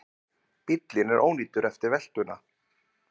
Bíllinn er ónýtur eftir veltuna